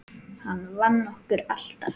Hann vann okkur alltaf.